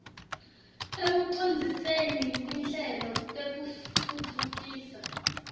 ekucondziseni tinhlelo tekutfutfukisa